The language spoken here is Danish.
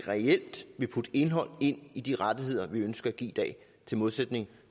reelt indhold i de rettigheder vi ønsker at give i dag i modsætning